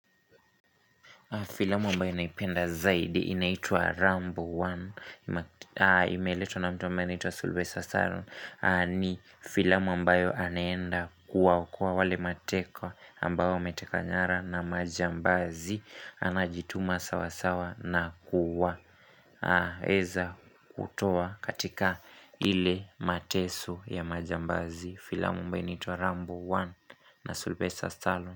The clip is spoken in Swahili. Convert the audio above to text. Filamu ambayo naipenda zaidi inaitwa Rambo 1 imeletwa na mtu ambaye anaitwa Sylvester Stallone ni filamu ambayo anaenda kuwaokoa wale mateka ambao wametekwa nyara na majambazi. Anajituma sawa sawa na kuwa. Weza kutoa katika hile mateso ya majambazi. Filamu ambayo inaitwa Rambo 1 na Sylvester Stallone.